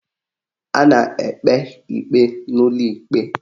A na-ekpe ikpe n'ụlọ ikpe